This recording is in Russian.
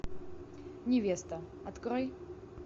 невеста открой